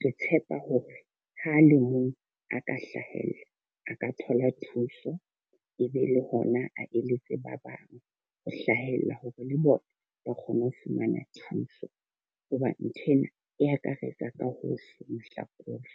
ke tshepa hore ha a le mong a ka hlahella a ka thola thuso. E be le hona a eletse ba bang ho hlahella hore le bona ba kgone ho fumana thuso. Hobane nthwena e akaretsa ka hohle mahlakore.